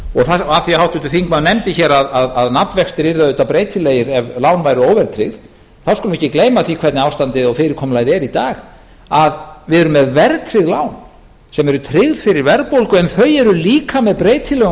það af því að háttvirtur þingmaður nefndi hér að nafnvextir yrðu auðvitað breytilegir ef lán væru óverðtryggð skulum við ekki gleyma því hvernig ástandið og fyrirkomulagið er í dag að við erum með verðtryggð lá sem eru tryggð fyrir verðbólgu en þau eru líka með breytilegum